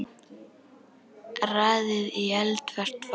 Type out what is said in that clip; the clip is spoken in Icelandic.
Raðið í eldfast form.